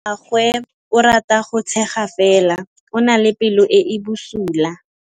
Malomagwe o rata go tshega fela o na le pelo e e bosula.